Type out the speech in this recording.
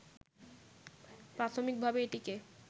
প্রাথমিকভাবে এটিকে